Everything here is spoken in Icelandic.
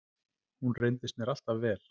Hún reyndist mér alltaf vel.